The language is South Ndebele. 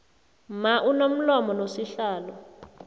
mma unomlomo nosihlalo